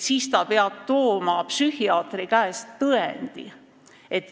siis ta peab tooma psühhiaatri käest tõendi.